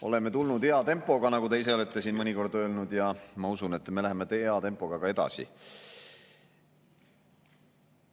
Oleme tulnud hea tempoga, nagu te ise olete siin mõnikord öelnud, ja ma usun, et me läheme hea tempoga ka edasi.